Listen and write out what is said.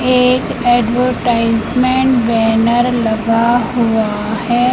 एक advertisement banner लगा हुआ है।